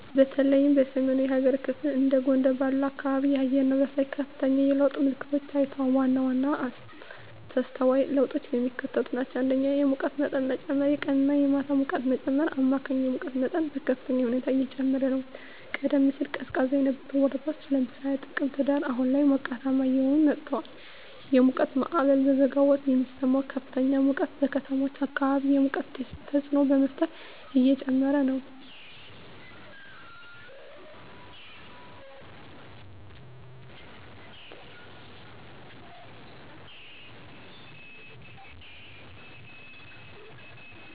በተለይም በሰሜናዊው የሀገሪቱ ክፍል (እንደ ጎንደር ባሉ አካባቢዎች) የአየር ንብረት ላይ ከፍተኛ የለውጥ ምልክቶች ታይተዋል። ዋና ዋናዎቹ ተስተዋይ ለውጦች የሚከተሉት ናቸው። 1. የሙቀት መጠን መጨመር -የቀንና የማታ ሙቀት መጨመር: አማካይ የሙቀት መጠን በከፍተኛ ሁኔታ እየጨመረ ነው። ቀደም ሲል ቀዝቃዛ የነበሩ ወራት (ለምሳሌ ጥቅምት/ህዳር) አሁን ላይ ሞቃታማ እየሆኑ መጥተዋል። የሙቀት ማዕበል: በበጋ ወራት የሚሰማው ከፍተኛ ሙቀት በከተሞች አካባቢ የሙቀት ደሴት ተፅዕኖ በመፍጠር እየጨመረ ነው።